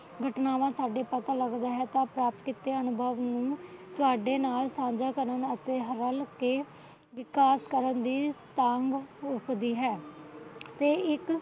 ਘਟਨਾਵਾਂ ਸਾਡੇ ਪਤਾ ਲੱਗਦਾ ਹੈ ਤਾਂ ਪ੍ਰਾਪਤ ਕੀਤੇ ਅਨੂਭਨ ਨੂੰ ਤੁਹਾਡੇ ਨਾਲ ਸਾਝਾ ਕਰਨ ਅਤੇ ਹਵਲ ਕੇ ਤੇ ਵਿਕਾਸ ਕਰਨ ਦੀ ਤਾਘ ਉਪਜਦੀ ਹੈ ਤੇ ਇੱਕ